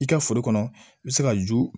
I ka foro kɔnɔ i bɛ se ka ju